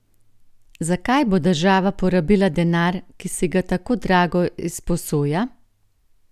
Za kaj bo država porabila denar, ki si ga tako drago izposoja?